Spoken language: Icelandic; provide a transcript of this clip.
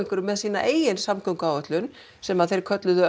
með sína eigin samgönguáætlun sem þeir kölluðu